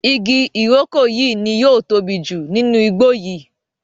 ìgi iroko yí ní yóò tóbi jù nínú igbó yí.